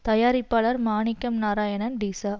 தயாரிப்பாளர் மாணிக்கம் நாராயணன் டிச